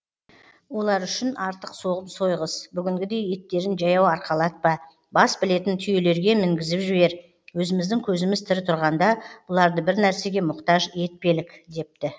олар үшін артық соғым сойғыз бүгінгідей еттерін жаяу арқалатпа бас білетін түйелерге мінгізіп жібер өзіміздің көзіміз тірі тұрғанда бұларды бір нәрсеге мұқтаж етпелік депті